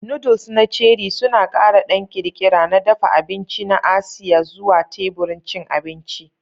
Noodles na Cherie suna ƙara ɗan ƙirƙira na dafa abinci na Asiya zuwa teburin cin abinci.